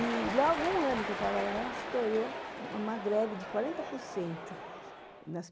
E logo um ano que eu trabalhava lá, estourou uma greve de quarenta por cento nas